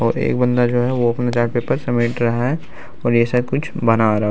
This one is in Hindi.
और एक बंदा जो है वो अपने चार्ट पेपर समेट रहा है और ऐसा कुछ बना रहा --